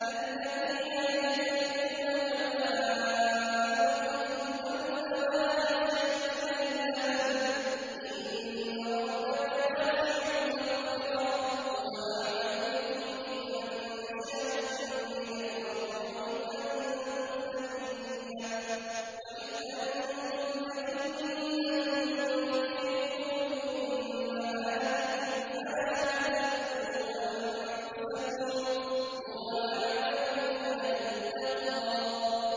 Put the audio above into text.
الَّذِينَ يَجْتَنِبُونَ كَبَائِرَ الْإِثْمِ وَالْفَوَاحِشَ إِلَّا اللَّمَمَ ۚ إِنَّ رَبَّكَ وَاسِعُ الْمَغْفِرَةِ ۚ هُوَ أَعْلَمُ بِكُمْ إِذْ أَنشَأَكُم مِّنَ الْأَرْضِ وَإِذْ أَنتُمْ أَجِنَّةٌ فِي بُطُونِ أُمَّهَاتِكُمْ ۖ فَلَا تُزَكُّوا أَنفُسَكُمْ ۖ هُوَ أَعْلَمُ بِمَنِ اتَّقَىٰ